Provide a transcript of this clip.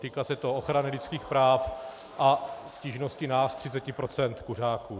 Týká se to ochrany lidských práv a stížností nás 30 % kuřáků.